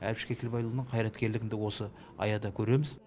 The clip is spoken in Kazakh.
әбіш кекілбайұлының қайраткерлігін де осы аяда көреміз